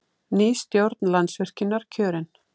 Ný stjórn Landsvirkjunar kjörin